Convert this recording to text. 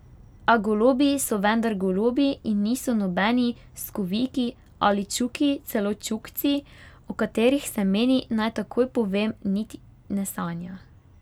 A golobi so vendar golobi in niso nobeni skoviki ali čuki, celo čukci, o katerih se meni, naj takoj povem, niti ne sanja.